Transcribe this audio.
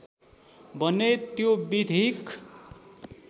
भने त्यो विधिक